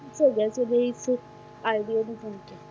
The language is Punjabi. idea ਦੇ ਤੌਰ ਤੇ,